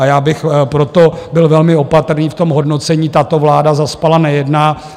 A já bych proto byl velmi opatrný v tom hodnocení: Tato vláda zaspala, nejedná.